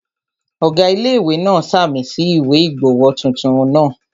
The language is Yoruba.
Ọ̀gá ilé-ìwé náà ṣàmì sí ìwé ìgbowó tuntun náà